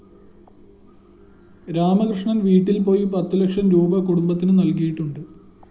രാമകൃഷ്ണന്‍ വീട്ടില്‍ പോയി പത്തു ലക്ഷം രൂപീ കുടുംബത്തിന് നല്‍കിയിട്ടുണ്ട്